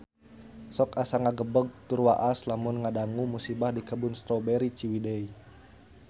Sok asa ngagebeg tur waas lamun ngadangu musibah di Kebun Strawberry Ciwidey